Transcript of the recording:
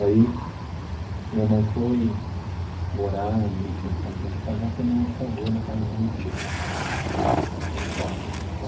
Aí, minha mãe foi morar, não tinha condições de pagar, foi morar de favor na casa de uma tia, num quarto.